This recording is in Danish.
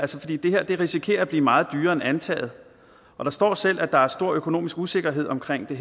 risikerer at blive meget dyrere end antaget der står selv at der er stor økonomisk usikkerhed omkring det